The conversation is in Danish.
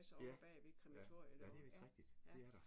Ja. Ja ja det vist rigtigt det er der